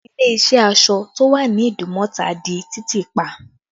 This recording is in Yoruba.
Ilé iṣẹ́ aṣọ tó wà ní Idumota di títì pa